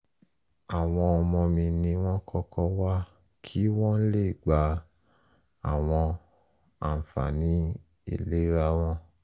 àwọn ọmọ mi ni wọ́n kọ́kọ́ wá kí wọ́n le gba àwọn àǹfààní ìlera wọn